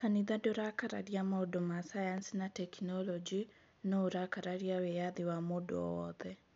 "Kanitha ndũrakararia maũndũ ma sayansi na tekinolonjĩ, no ũrakararia wĩyathi wa mũndũ o wothe.